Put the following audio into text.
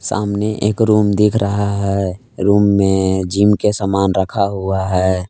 सामने एक रूम दिख रहा है रूम में जिम के सामान रखा हुआ है।